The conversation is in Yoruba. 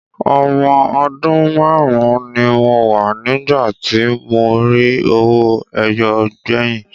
Ọmọ ọdún márùn-ún ni mo wà nígbà tí mo rí owó ẹyọ gbẹ̀yìn.